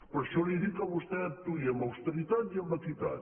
per això li dic a vostè que actuï amb austeritat i amb equitat